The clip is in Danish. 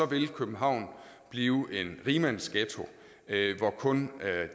vil københavn blive en rigmandsghetto hvor kun